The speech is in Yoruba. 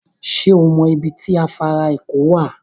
Sẹ́ ọ mọ ibi tó afàrà èkó wá?